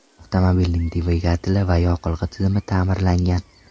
Avtomobilning dvigateli va yoqilg‘i tizimi ta’mirlangan.